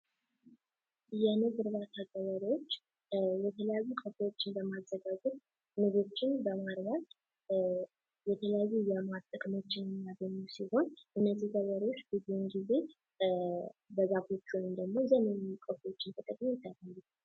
የንብ እርባታ ገበሬዎች የተለያዩ ቀፎዎችን በማዘጋጀት ንቦችን በማርባት የተለያዩ የማር ጥቅሞችን ሚመያስገኙ ሲሆን እነዚህ ገበሬዎች ብዙውን ጊዜ በዛፎች ወይም ደግሞ ዘመናዊ ቀፎዎችን ተጠቅመው።